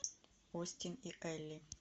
остин и элли